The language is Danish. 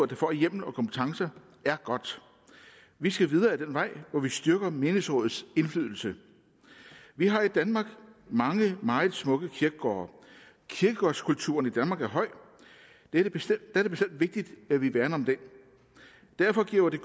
der får hjemlen og kompetencen vi skal videre ad den vej hvor vi styrker menighedsrådets indflydelse vi har i danmark mange meget smukke kirkegårde kirkegårdskulturen i danmark er høj og det er bestemt vigtigt at vi værner om den derfor giver det